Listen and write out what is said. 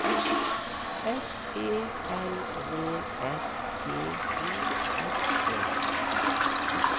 S E L V S T Y R E